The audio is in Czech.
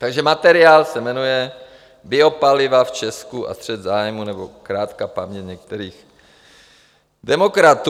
Takže materiál se jmenuje Biopaliva v Česku a střet zájmů aneb krátká paměť některých demokratů.